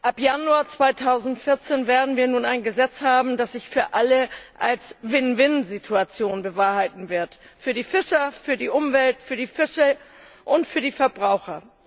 Ab Januar 2014 werden wir nun ein Gesetz haben, das sich für alle als Win win Situation bewahrheiten wird für die Fischer, für die Umwelt, für die Fische und für die Verbraucher.